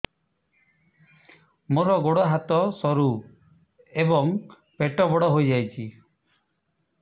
ମୋର ଗୋଡ ହାତ ସରୁ ଏବଂ ପେଟ ବଡ଼ ହୋଇଯାଇଛି